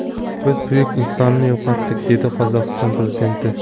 Biz buyuk insonni yo‘qotdik”, dedi Qozog‘iston prezidenti.